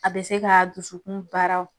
A bɛ se ka dusukun baara